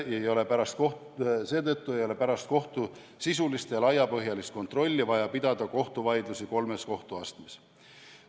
Seetõttu ei ole pärast kohtu sisulist ja laiapõhjalist kontrolli vaja pidada kohtuvaidlusi kolmes kohtuastmes.